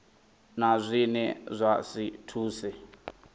na zwine zwa si thuse